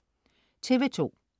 TV2: